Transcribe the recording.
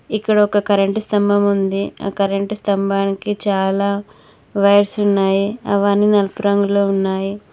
ఇక్కడ ఒక కరెంటు స్తంభం ఉంది ఆ కరెంటు స్తంభానికి చాలా వైర్స్ ఉన్నాయి అవన్ని నలుపు రంగులో ఉన్నాయి.